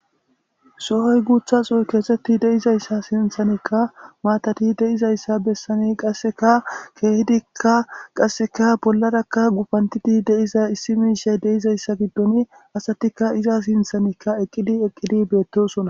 sohoy guutha xoy keesetti deizayssa sinthanikka maatati deizayssa bessani qasseka keehidikka qasseka bollarakka gupantidi deiza issi miishay deizayssa giddon asatikka iza sinthanikka eqqidi eqqidi beettosona